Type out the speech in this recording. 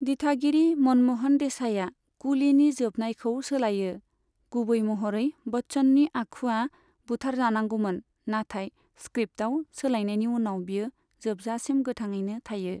दिथागिरि मनम'हन देसाईआ कुलीनि जोबनायखौ सोलायो, गुबै महरै बच्चननि आखुआ बुथारजानांगौमोन नाथाय स्क्रिप्टआव सोलायनायनि उनाव बियो जोबजासिम गोथाङैनो थायो।